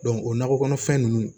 o nakɔ kɔnɔfɛn ninnu